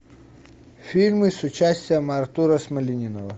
фильмы с участием артура смолянинова